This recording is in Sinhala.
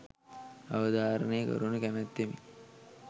අවධාරණය කරනු කැමැත්තෙමි